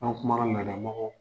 An' kumara laada mɔgɔw